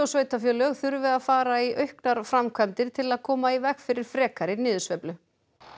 sveitarfélög þurfi að fara í auknar framkvæmdir til að koma í veg fyrir frekari niðursveiflu